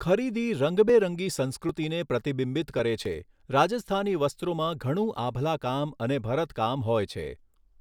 ખરીદી રંગબેરંગી સંસ્કૃતિને પ્રતિબિંબિત કરે છે, રાજસ્થાની વસ્ત્રોમાં ઘણું આભલાકામ અને ભરતકામ હોય છે.